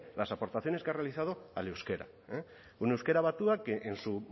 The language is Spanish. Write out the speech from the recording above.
las aportaciones que ha realizado al euskera un euskera batua que en su